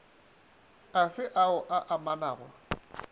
a fe ao a amanago